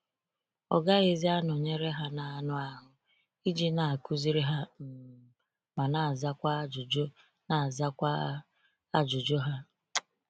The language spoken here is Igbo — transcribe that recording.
Ọ gaghịzi anọnyere ha n’anụ ahụ́ iji na-akụziri ha um ma na-azakwa ajụjụ na-azakwa ajụjụ ha.